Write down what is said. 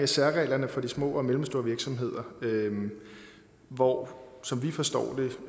særreglerne for de små og mellemstore virksomheder hvor som vi forstår